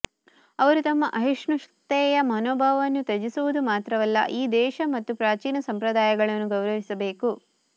ಅವರು ತಮ್ಮ ಅಸಹಿಷ್ಣುತೆಯ ಮನೋಭಾವವನ್ನು ತ್ಯಜಿಸುವುದು ಮಾತ್ರವಲ್ಲ ಈ ದೇಶ ಮತ್ತು ಪ್ರಾಚೀನ ಸಂಪ್ರದಾಯಗಳನ್ನು ಗೌರವಿಸಬೇಕು